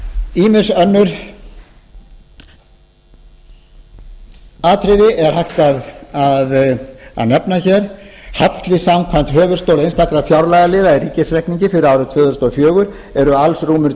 ýmis önnur atriði er hægt að nefna hér halli samkvæmt höfuðstól einstakra fjárlagaliða í ríkisreikningi fyrir árið tvö þúsund og fjögur er alls rúmir